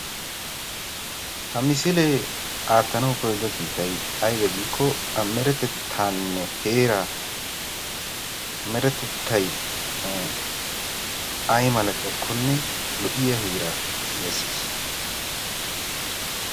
Ha misilee aatanaw koyyido kiitay aybbe giiko meretettanne heeraa; meretettay ay malatiyaakkonne lo"iyaa heeraa gidees.